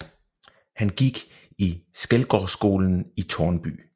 Han gik i Skelgårdsskolen i Tårnby